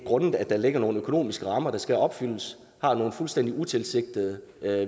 grundet at der ligger nogle økonomiske rammer der skal opfyldes har nogle fuldstændig utilsigtede